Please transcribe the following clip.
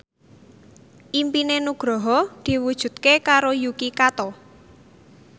impine Nugroho diwujudke karo Yuki Kato